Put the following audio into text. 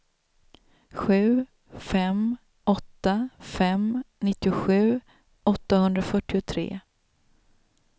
sju fem åtta fem nittiosju åttahundrafyrtiotre